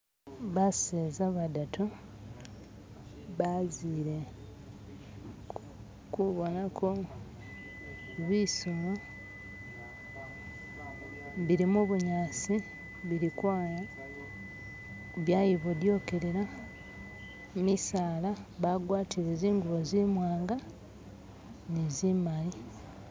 baseza badatu bazile kubonako bisolo bili mubunyasi bili kwaya byayibodyokelela misala bagwatile zingubo zimwanga ni zimali.